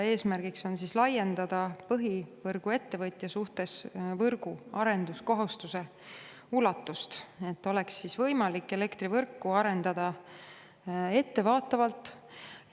Eesmärk on laiendada põhivõrguettevõtja suhtes võrguarenduskohustuse ulatust, et oleks võimalik elektrivõrku arendada ettevaatavalt.